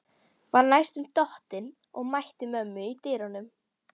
Var næstum dottinn og mætti mömmu í dyrunum.